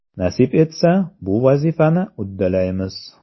Nasib etsa, bu vazifani uddalaymiz.